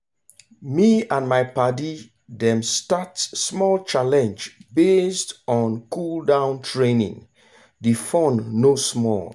me and my padi dem start small challenge based on cool-down training the fun no small.